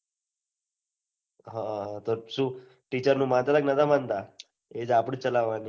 હા તો શું teacher નું મનાતા હતા કે નતા માનતા એજ આપડી જ ચલાવાની